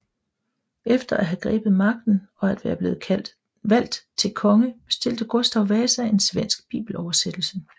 Efter at have grebet magten og at være blevet valgt til konge bestilte Gustav Vasa en svensk bibeloversættelse